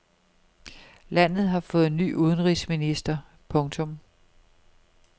Landet har fået ny udenrigsminister. punktum